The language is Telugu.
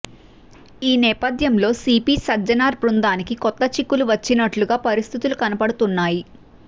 ఈ నేపథ్యంలో సిపి సజ్జనార్ బృందానికి కొత్త చిక్కులు వచ్చినట్లుగా పరిస్థితులు కనపడుతున్నాయి